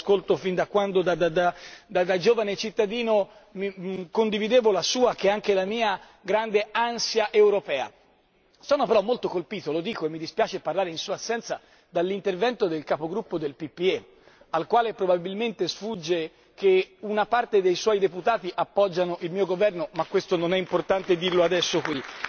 Lo ascolto fin da quando, da giovane cittadino condividevo la sua grande ansia europea, che è anche la mia. Sono però molto colpito lo dico e mi dispiace parlare in sua assenza dall'intervento del capogruppo del PPE, al quale probabilmente sfugge che una parte dei suoi deputati appoggia il mio governo, ma questo non è importante dirlo adesso qui.